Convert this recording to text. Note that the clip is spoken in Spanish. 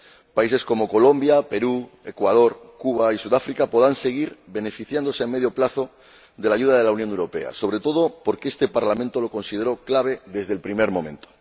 Países como Colombia, Perú, Ecuador, Cuba y Sudáfrica podrán seguir beneficiándose a medio plazo de la ayuda de la Unión Europea, sobre todo porque este Parlamento lo consideró clave desde el primer momento.